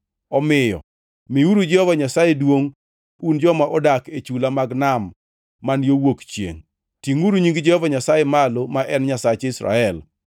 Omiyo miuru Jehova Nyasaye duongʼ un joma odak e chula mag nam man yo wuok chiengʼ; tingʼuru nying Jehova Nyasaye malo, ma en Nyasach Israel,